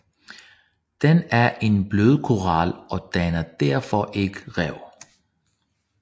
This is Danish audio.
Den er en blødkoral og danner derfor ikke rev